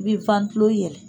I bi tulo yɛlɛ.